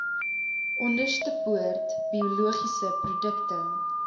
onderstepoort biologiese produkte